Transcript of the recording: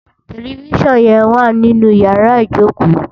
Tèlèfisán yèn wá ninú iyàrá ijókó